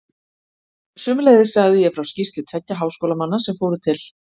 Sömuleiðis sagði ég frá skýrslu tveggja háskólamanna sem fóru til